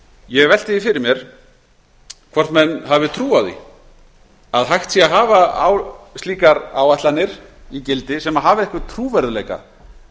ég velti því fyrir mér hvort menn hafi trú á því að hægt sé að hafa slíkar áætlanir í gildi sem hafa einhvern trúverðugleika